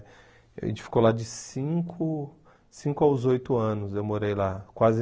A gente ficou lá de cinco cinco aos oito anos, eu morei lá, quase